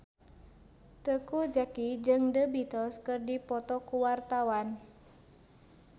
Teuku Zacky jeung The Beatles keur dipoto ku wartawan